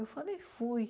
Eu falei, fui.